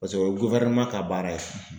Paseke o ye ka baara ye.